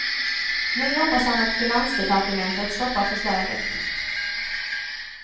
Nu hoppas han att finansdepartementet stoppar förslaget.